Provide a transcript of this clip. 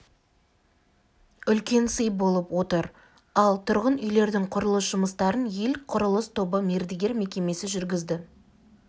үлкен сый болып отыр ал тұрғын үйлердің құрылыс жұмыстарын ел құрылыс тобы мердігер мекемесі жүргізді